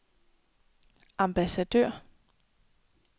ambassadør